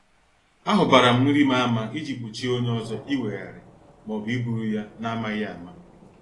A hubaram nrim ama iji gbochie onye ọzọ iweghari maọbụ iburu ya n' amaghị ama.